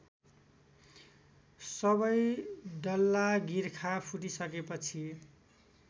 सबै डल्लागिर्खा फुटिसकेपछि